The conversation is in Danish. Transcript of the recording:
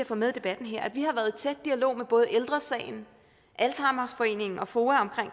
få med i debatten her at vi har været i tæt dialog med både ældre sagen alzheimerforeningen og foa om